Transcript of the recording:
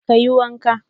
Ka yi wanka?